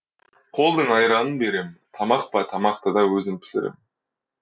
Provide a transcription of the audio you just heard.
қолдың айранын берем тамақ па тамақты да өзім пісірем